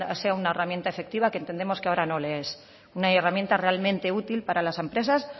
sea una herramienta efectiva que entendemos que ahora no lo es una herramienta realmente útil para las empresas